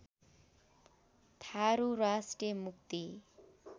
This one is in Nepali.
थारु राष्टिय मुक्ति